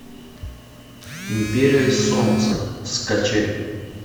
империя солнца скачай